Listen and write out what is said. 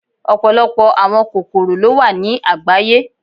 Ọpọlọpọ awọn kokoro lo wa ni agbaye